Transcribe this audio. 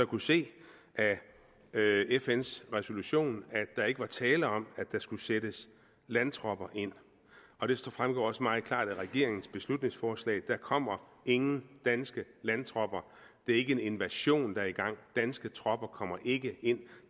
kunne se af fns resolution at der ikke var tale om at der skulle sættes landtropper ind og det fremgår også meget klart af regeringens beslutningsforslag der kommer ingen danske landtropper det er ikke en invasion der er i gang danske tropper kommer ikke ind